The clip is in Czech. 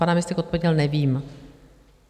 Pan náměstek odpověděl: Nevím.